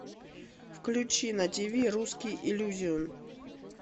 включи на тв русский иллюзион